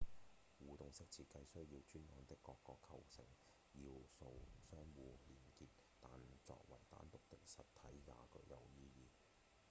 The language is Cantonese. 互動式設計需要專案的各個構成要素相互連結但作為單獨的實體也具有意義